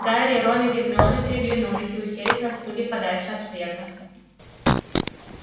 гарри рон и гермиона переглянулись и уселись на стулья подальше от света